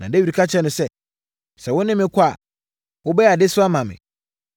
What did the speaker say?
Na Dawid ka kyerɛɛ no sɛ, “Sɛ wo ne me kɔ a, wobɛyɛ adesoa ama me.